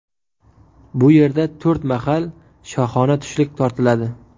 Bu yerda to‘rt mahal shohona tushlik tortiladi.